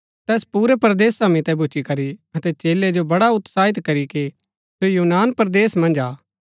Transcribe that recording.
तैस पुरै परदेसा मितै भूच्ची करी अतै चेलै जो बड़ा उत्साहित करीके सो यूनान परदेस मन्ज आ